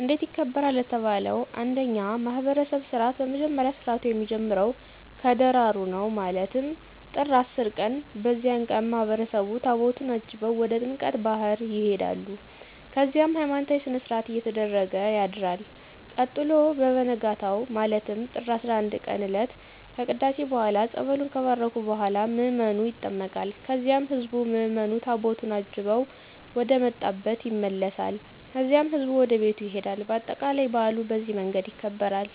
እንዴት ይከበራል ለተባለው እንደኛ ማህብረሰብ ስርዓት በመጀመሪያ ስርአቱ የሚጀምረው ከደራሩ ነው ማለትም ጥር 10 ቀን በዚያን ቀን ማህበረሰቡ ታቦታቱን አጅበው ወደ ጥምቀተ ባህር ይሆዳሉ ከዚያም ሀይማኖታዊ ስነስርአት እየተደረገ ያድርል ቀጥሎ በቨነጋው ማለትም ጥር 11ቀን እለት ከቅዳሴ በኋላ ፀበሉን ከባረኩ በኋላ ምዕመኑ ይጠመቃል ከዚያም ህዝብ ምዕምኑ ታቦቱን አጅበው ወደመጣብ ይመለሳል ከዚያም ህዝቡ ወደቤቱ ይሄዳል በአጠቃላይ በአሉ በዚህ መንገድ ይከበራል።